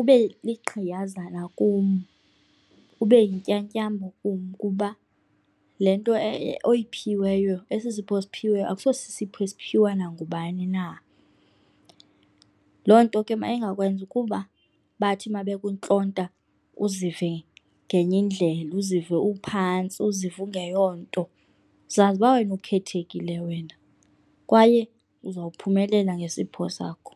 ube ligqiyazana kum, ube yintyatyambo kum kuba le nto oyiphiweyo, esi sipho osiphiweyo akuso sipho esiphiwa nangubani na. Loo nto ke mayingakwenzi ukuba bathi uma bekuntlonta uzive ngenye indlela, uzive uphantsi uzive ungeyonto. Zazi uba wena ukhethekile wena kwaye uzawuphumelela ngesiphiwo sakho.